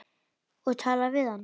Og talar við hann.